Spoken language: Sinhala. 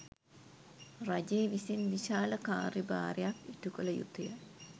රජය විසින් විශාල කාර්යභාරයක් ඉටුකළ යුතුය.